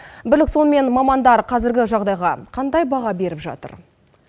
бірлік сонымен мамандар қазіргі жағдайға қандай баға беріп жатыр